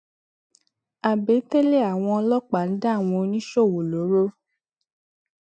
àbètélè àwọn ọlọpàá ń dá àwọn oníṣòwò lóró